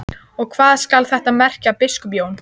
Og hvað skal þetta merkja, biskup Jón?